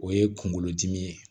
O ye kunkolodimi ye